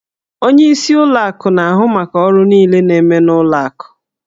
Onyeisi ụlọ akụ na-ahụ maka ọrụ niile na-eme n'ụlọ akụ